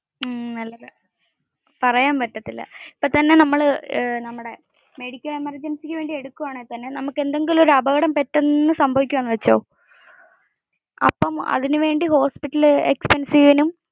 ഇപ്പോ തന്നെ നമ്മൾ മെഡിക്കൽ എമെർജിൻസിക് വേണ്ടി എടുക്കുവാണെങ്കിൽ തന്നെ നമ്മുക് എന്തെങ്കിലും അപകടം പെട്ടന് സംഭവിക്കുവാണെന്ന് വെച്ചോ. അതിന് വേണ്ടി ഹോസ്പിറ്റൽ expenses